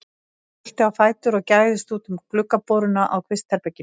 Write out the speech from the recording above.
Hann brölti á fætur og gægðist út um gluggaboruna á kvistherberginu.